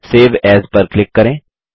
save as पर click करें